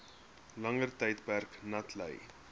langer tydperk natlei